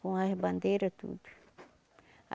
Com as bandeira, tudo.